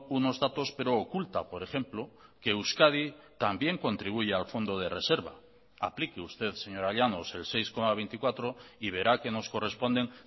unos datos pero oculta por ejemplo que euskadi también contribuye al fondo de reserva aplique usted señora llanos el seis coma veinticuatro y verá que nos corresponden